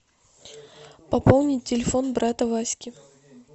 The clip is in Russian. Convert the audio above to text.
пополнить телефон брата васьки